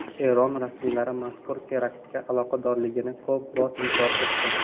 Eron rasmiylari mazkur teraktga aloqadorligini ko‘p bor inkor etgan.